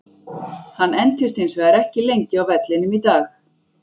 Hann entist hins vegar ekki lengi á vellinum í dag.